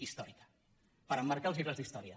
històrica per emmarcar als llibres d’història